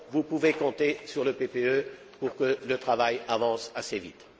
Vous pouvez compter sur le PPE pour que le travail avance assez vite.